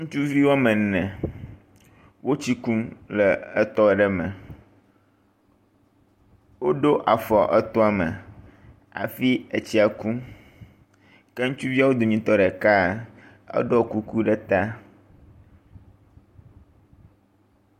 Ŋutsuvi wome ene wotsi kum le etɔ aɖe me. Woɖo afɔ etɔ me hafi etsia kum. Ke ŋutsuviwo dometɔ ɖekaa, eɖɔ kuku ɖe ta.